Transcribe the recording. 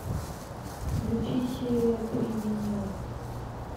включи серия три винил